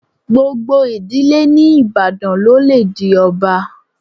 Gbogbo ìdílé ní Ìbàdàn ló le di ọba.